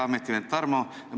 Hea ametivend Tarmo!